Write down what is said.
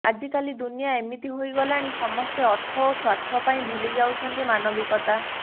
ଆଜିକାଲି ଦୁନିଆ ଏମିତି ହୋଇଗଲାଣି ସମସ୍ତେ ଅର୍ଥ ଓ ସ୍ୱାର୍ଥ ପାଇଁ ଭୁଲି ଯାଉଛନ୍ତି ମାନବିକତା